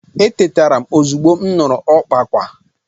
Etetara m ozugbo m nụrụ ka ọkpa akwa.